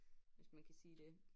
Hvis man kan sige det